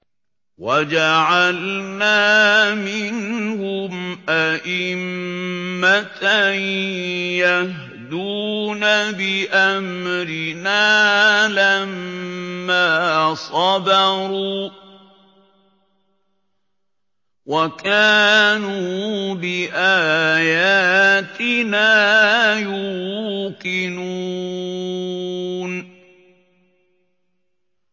وَجَعَلْنَا مِنْهُمْ أَئِمَّةً يَهْدُونَ بِأَمْرِنَا لَمَّا صَبَرُوا ۖ وَكَانُوا بِآيَاتِنَا يُوقِنُونَ